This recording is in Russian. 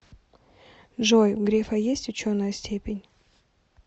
джой у грефа есть ученая степень